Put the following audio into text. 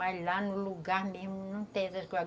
Mas lá no lugar mesmo não tem essas coisas.